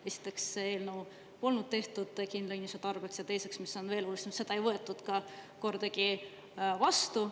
Esiteks, see eelnõu polnud tehtud kindla inimese tarbeks, ja teiseks, mis on veel olulisem, seda ei võetud ka vastu.